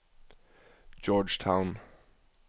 Georgetown